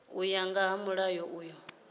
u ya nga mulayo uyu